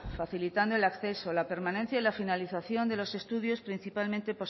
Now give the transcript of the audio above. facilitando el acceso la permanencia y la finalización de los estudios principalmente